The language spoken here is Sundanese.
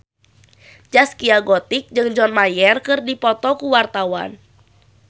Zaskia Gotik jeung John Mayer keur dipoto ku wartawan